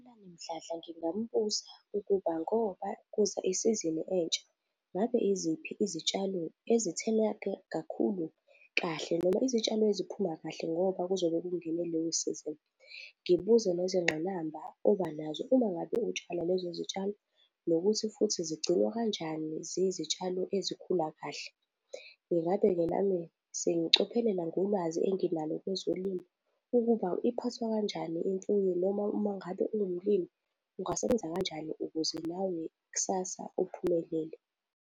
UPhumlani Mdladla ngingambuza ukuba ngoba kuza isizini entsha, ngabe iziphi izitshalo ezitheleka kakhulu kahle noma izitshalo ezikhula kahle ngoba kuzobe kungene leyo sizini. Ngibuze ngezingqinamba obanazo uma ngabe utshala lezo zitshalo nokuthi futhi zigcinwa kanjani ziyizitshalo ezikhula kahle. Ingabe-ke nami sengicophelela ngolwazi enginalo kwezolimo ukuba iphathwa kanjani imfuyo noma mengabe ungumlimi ungasebenza kanjani ukuze nawe kusasa uphumelele.